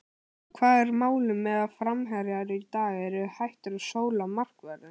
Og hvað er málið með að framherjar í dag eru hættur að sóla markvörðinn?